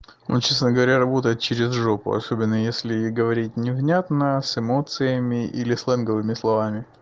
ну честно говоря работает через жопу особенно если говорить невнятно с эмоциями или сленговыми словами